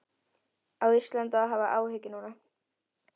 Á Ísland að hafa áhyggjur núna?